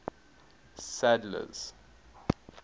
sadler's